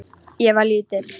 Ég var lítil.